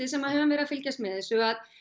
sem höfum verið að fylgjast með þessu að